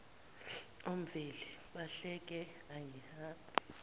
omveli bahleke angihambe